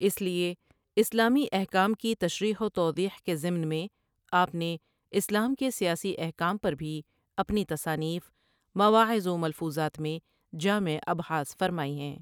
اس لیے اسلامی احکام کی تشریح و توضیح کے ضمن میں آپ نے اسلام کے سیاسی احکام پر بھی اپنی تصانیف ، مواعظ و ملفوظات میں جامع ابحاث فرمائی ہیں ۔